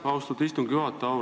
Austatud istungi juhataja!